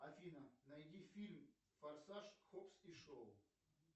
афина найди фильм форсаж хопс и шоу